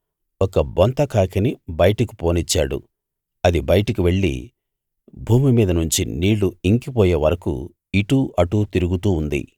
ఒక బొంతకాకిని బయటకు పోనిచ్చాడు అది బయటకు వెళ్ళి భూమిమీద నుంచి నీళ్ళు ఇంకిపోయేవరకూ ఇటూ అటూ తిరుగుతూ ఉంది